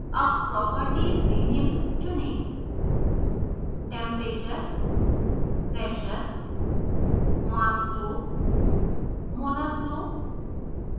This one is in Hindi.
अब properties में निम्न चुनें: